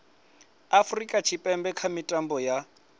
afurika tshipembe kha mitambo ya